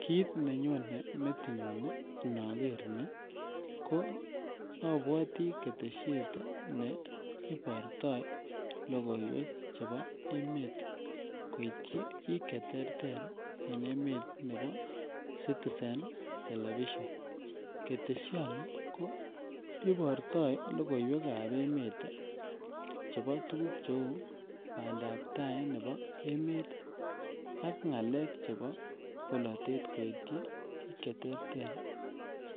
Kit nenyone metinyun inoker nii ko obwotii keteshet ne iborto lokoiwek chebo emet koityi bik cheterter en emet nebo citizen television .Keteshoni ko iborto lokoiwek ab emet chebo tukuk cheu pandap tai nebo emet tii ak ngalek chebo bolotet koityi bik cheterter